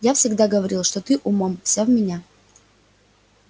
я всегда говорил что ты умом вся в меня